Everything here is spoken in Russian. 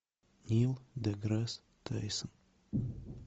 нил деграсс тайсон